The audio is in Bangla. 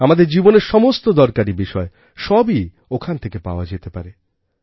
আমাদের জীবনের সমস্ত দরকারি বিষয় সবই ওখান থেকে পাওয়া যেতে পারে